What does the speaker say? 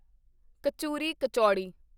kachuri kachori